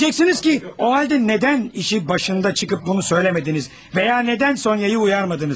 Deyəcəksiniz ki, o halda nədən işi başında çıxıb bunu söyləmədiniz və ya nədən Sonyanı uyarmadınız?